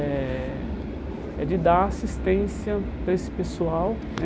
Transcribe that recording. Eh É de dar assistência para esse pessoal, né?